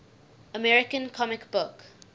american comic book